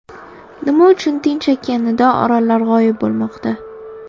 Nima uchun Tinch okeanida orollar g‘oyib bo‘lmoqda?.